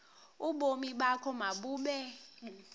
ubomi bakho mabube